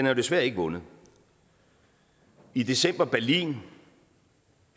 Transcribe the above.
er desværre ikke vundet i december berlin